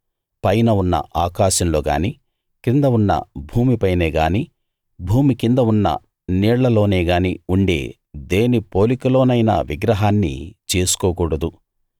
పైన ఉన్న ఆకాశంలో గాని కింద ఉన్న భూమిపైనే గాని భూమి కింద ఉన్న నీళ్లలోనే గాని ఉండే దేని పోలికలోనైనా విగ్రహాన్ని చేసుకోకూడదు